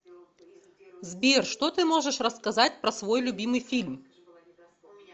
сбер что ты можешь рассказать про свой любимый фильм